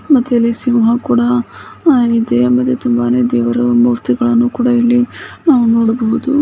ಮತ್ತು ಇಲ್ಲಿ ಸಿಂಹ ಕೂಡಾ ಆಹ್ಇದೆ ಮತ್ತೆ ತುಂಬಾನೇ ದೇವರ ಮೂರ್ತಿಗಳನ್ನು ಕೂಡಾ ಇಲ್ಲಿ ನಾವು ನೋಡಬಹುದು.